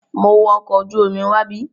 Mo wa ọkọ̀ ojú omi wábí.